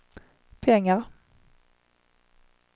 pengar